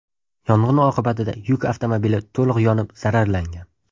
Yong‘in oqibatida yuk avtomobili to‘liq yonib zararlangan.